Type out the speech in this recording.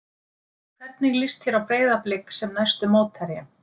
Hvernig líst þér á Breiðablik sem næstu mótherja?